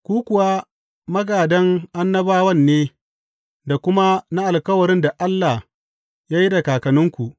Ku kuwa magādan annabawan ne da kuma na alkawarin da Allah ya yi da kakanninku.